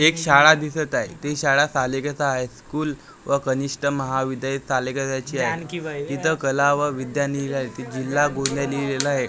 एक शाळा दिसत आहे ते शाळा तालिकेत आहेत स्कूल व कनिष्ठ महाविद्यालय त्याची आहे तिथं कला व विद्यानिक तिथं जिल्हा गोंदिया लिहिलेलं आहे.